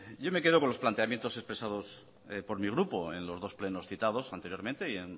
yo me quedo con los planteamientos expresados por mi grupo en los dos plenos citados anteriormente y